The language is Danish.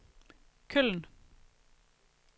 Køln